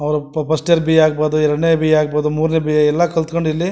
ಅವರು first year BA ಆಗ್ಬಹುದು ಎರಡನೇ ಬಿ.ಎ ಆಗಬಹುದು ಮೂರನೇ ಬಿ.ಎ ಎಲ್ಲ ಕಲಿಥ್ಕೊಂಡು ಇಲ್ಲಿ--